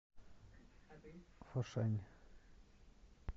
фошань